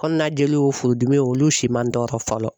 Kɔnɔnajeli y'o furudimi o olu si man n tɔrɔ fɔlɔ.